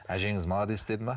әжеңіз молодец деді ме